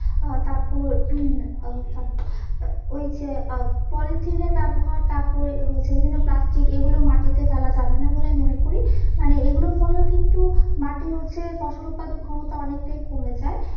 আর তারপর উম আহ ওই যে আহ পলিথিনের ব্যবহার তারপর হচ্ছে বিভিন্ন plastic এগুলো মাটিতে ফেলা যাবে না বলে আমি মনে করি মানে এগুলোর ফলেও কিন্তু মাটির হচ্ছে ফসল উৎপাদন ক্ষমতা অনেকটাই কমে যায়